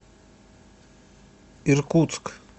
иркутск